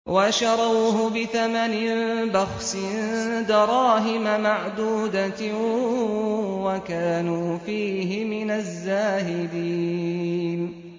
وَشَرَوْهُ بِثَمَنٍ بَخْسٍ دَرَاهِمَ مَعْدُودَةٍ وَكَانُوا فِيهِ مِنَ الزَّاهِدِينَ